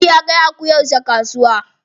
Audu ya kai akuyar shi kasuwa.